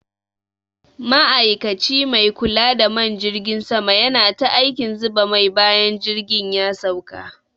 Ma'ikaci mai kula da man jirgin sama yana ta aikin zuba mai bayan jirgin ya sauka.